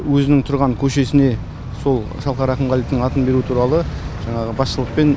өзінің тұрған көшесіне сол шалқар ақымғалиевтің атын беру туралы жаңағы басшылықпен